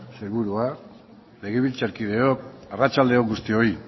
sailburuak legebiltzarkideok arratsalde on guztioi